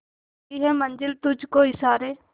करती है मंजिल तुझ को इशारे